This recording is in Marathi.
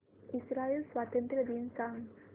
इस्राइल स्वातंत्र्य दिन सांग